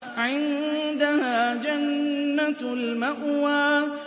عِندَهَا جَنَّةُ الْمَأْوَىٰ